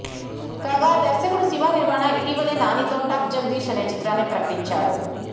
కాగా దర్శకుడు శివ నిర్వాణ ఇటివలే నానితో టక్ జగదీశ్ అనే చిత్రాన్ని ప్రకటించాడు